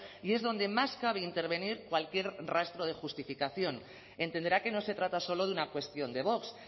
y es donde más cabe intervenir cualquier rastro de justificación entenderá que no se trata solo de una cuestión de vox